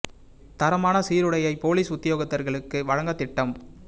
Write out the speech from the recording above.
தரமான சீருடையை பொலிஸ் உத்தியோகத்தர்களுக்கு வழங்க திட்டம்